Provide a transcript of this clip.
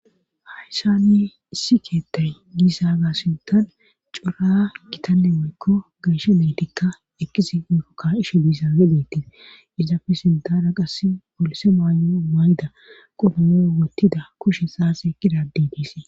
hayssanne issi keettay giisaaga sintan cora kitanne moykko geeshe meetikka ekisi irokka isho diisa nedetin izafe sintara qass polise maao mayda qodonoo wottida kushe saase qidadidiise